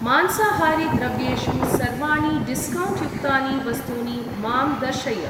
मांसाहारी द्रव्येषु सर्वाणि डिस्कौण्ट् युक्तानि वस्तूनि मां दर्शय।